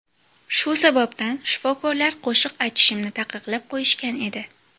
Shu sababdan shifokorlar qo‘shiq aytishimni taqiqlab qo‘yishgan edi.